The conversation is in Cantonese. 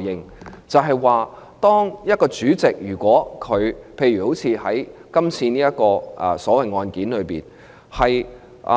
也就是說，當一位主席——例如在今次所謂的案件中的主席——